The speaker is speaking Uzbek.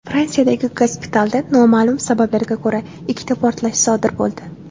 Fransiyadagi gospitalda noma’lum sabablarga ko‘ra ikkita portlash sodir bo‘ldi.